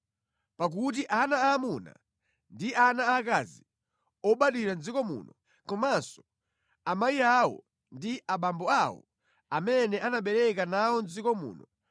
pakuti ana aamuna ndi ana aakazi obadwira mʼdziko muno, komanso amayi awo ndi abambo awo amene anabereka anawo mʼdziko muno,